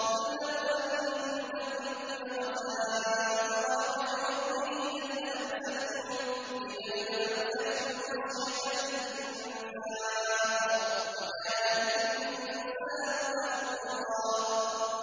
قُل لَّوْ أَنتُمْ تَمْلِكُونَ خَزَائِنَ رَحْمَةِ رَبِّي إِذًا لَّأَمْسَكْتُمْ خَشْيَةَ الْإِنفَاقِ ۚ وَكَانَ الْإِنسَانُ قَتُورًا